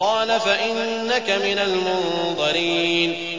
قَالَ فَإِنَّكَ مِنَ الْمُنظَرِينَ